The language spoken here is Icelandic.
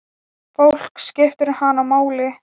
Fólk skipti hana máli.